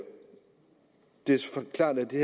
klart at det